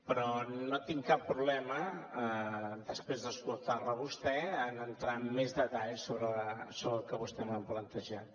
però no tinc cap problema després d’escoltar la a vostè a entrar amb més detall sobre el que vostè m’ha plantejat